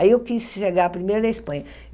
Aí eu quis chegar primeiro na Espanha.